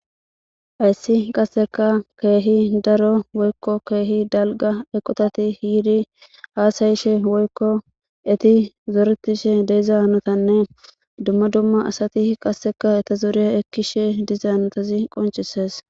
Hayssi qasseka keehi daro woykko keehi dalga eqotati yiidi haasayishe woykko eti zoretishe diza hanotanne dumma dumma asati qasseka eta zoriya ekkishe diza hanotazi qoncises.